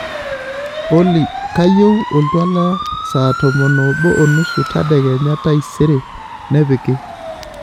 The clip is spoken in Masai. olly kayieu oltwala saa tomon obo onusu tadekenya taisere nipiki